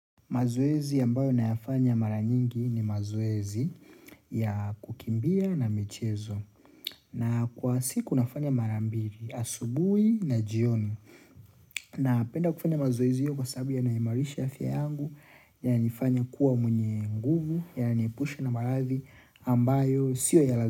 Mazoezi ambayo nayafanya mara nyingi ni mazoezi ya kukimbia na michezo na kwa siku nafanya mara mbili asubuhi na jioni na penda kufanya mazoezi hiyo kwa sababu yana himarisha afya yangu yananifanya kuwa mwenye nguvu yananiepusha na maradhi ambayo sio ya lazi.